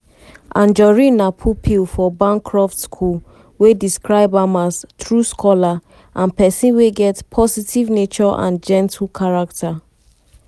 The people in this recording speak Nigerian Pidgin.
anjorin na pupil for bancroft school wey describe am as "true scholar" and pesin wey get "positive nature and gentle character".